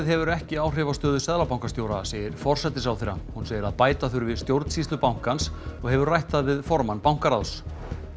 hefur ekki áhrif á stöðu seðlabankastjóra segir forsætisráðherra hún segir að bæta þurfi stjórnsýslu bankans og hefur rætt það við formann bankaráðs